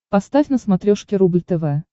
поставь на смотрешке рубль тв